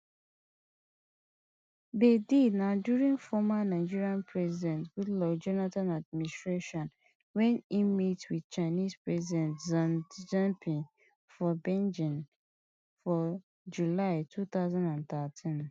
di deal na during former nigerian president goodluck jonathan administration wen e meet wit chinese president xi jinping for beijing for july two thousand and thirteen